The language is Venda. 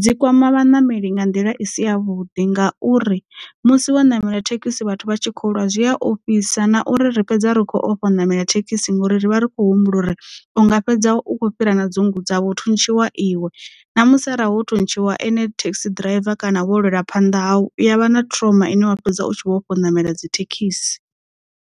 dzi kwama vhaṋameli nga nḓila i si yavhuḓi ngauri musi wo ṋamela thekhisi vhathu vha tshi kho lwa zwi a ofhisa na uri ri fhedza ri khou ofha u ṋamela thekhisi ngori ri vha ri khou humbula uri unga fhedza u kho fhira na dzungudza ha vho thuntshiwa iwe na musi a ra ho thuntshiwa ene thekhisi ḓiraiva kana vho lwela phanḓa hau uya vha na trauma ine wa fhedza u tshi vho ofha u ṋamela dzithekhisi.